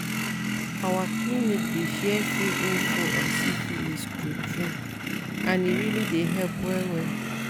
our clinic dey share free info on syphilis true true and e really dey help well well